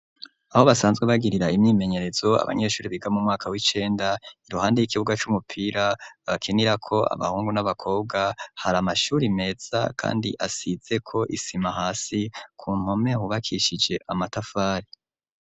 Aho basanzwe bagirira imyimenyerezo abanyeshuri biga mu mwaka w'icenda iruhande y'ikibuga c'umupira babakirako abahungu n'abakobwa hari amashuri meza kandi asize ko isima hasi ku mpome hubakishije amatafari